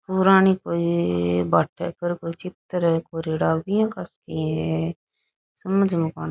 पुराणी कोई भाटे पर कोई चित्र है कोरयोड़ो किया कर सके समझ में न आवे।